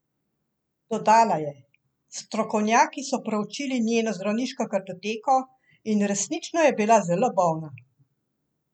Dodala je: 'Strokovnjaki so preučili njeno zdravniško kartoteko in resnično je bila zelo bolna'.